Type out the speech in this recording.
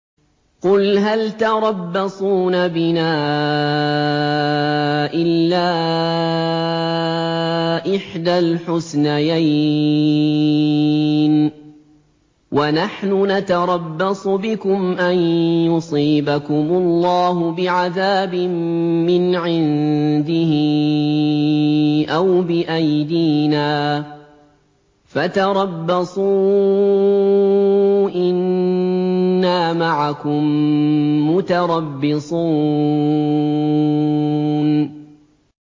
قُلْ هَلْ تَرَبَّصُونَ بِنَا إِلَّا إِحْدَى الْحُسْنَيَيْنِ ۖ وَنَحْنُ نَتَرَبَّصُ بِكُمْ أَن يُصِيبَكُمُ اللَّهُ بِعَذَابٍ مِّنْ عِندِهِ أَوْ بِأَيْدِينَا ۖ فَتَرَبَّصُوا إِنَّا مَعَكُم مُّتَرَبِّصُونَ